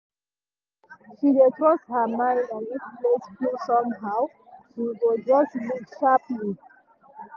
she dey trust her mind and if place feel somehow she go just leave sharply.